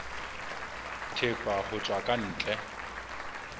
thepa ho tswa ka ntle